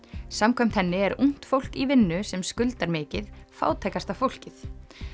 samkvæmt henni er ungt fólk í vinnu sem skuldar mikið fátækasta fólkið